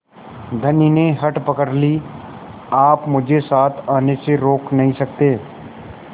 धनी ने हठ पकड़ ली आप मुझे साथ आने से रोक नहीं सकते